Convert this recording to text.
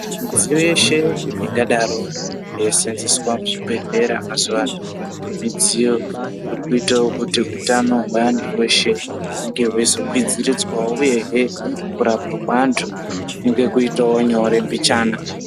Midziyo yeshe ingadaro yeiseenzeswa muzvibhedhlera mazuvano, midziyo iri kuitawo kuti utano hweantu veshe hunge hweizokwiridzirwawo uyehe kurapwa kweantu kunge kuitawo nyore mbichana.